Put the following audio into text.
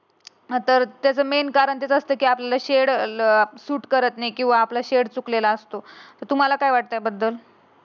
हा तर त्याचा मेन कारण असतं की आपल्याला शेड ल सुट करत नाही. किंवा आपला शेड चुकलेला असतो. तुम्हाला काय वाटतं याबद्दल